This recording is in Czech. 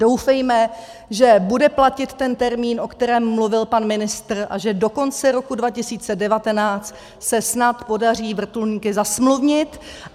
Doufejme, že bude platit ten termín, o kterém mluvil pan ministr, a že do konce roku 2019 se snad podaří vrtulníky zasmluvnit.